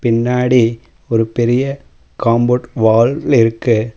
பின்னாடி ஒரு பெரிய காம்பவுண்ட் வால் இருக்கு.